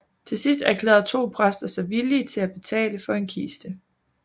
Til sidst erklærede to præster sig villige til at betale for en kiste